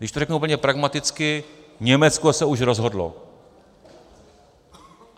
Když to řeknu úplně pragmaticky, Německo se už rozhodlo.